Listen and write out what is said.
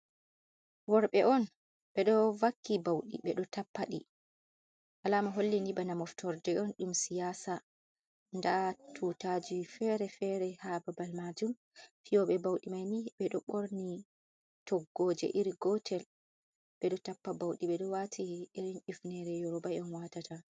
Wor6e on 6bđo vakki bauđi 6eđo tappa đi, alaama holli ni bana moftorde on đum siyasa ndaa tuutaaji feere feere haa babal maajum, fiyoobe bauđi maini beđo 6orni toggoje iri gootel beđo tappa bauđi 6eđo waati irin hifneere Yeroba en watata.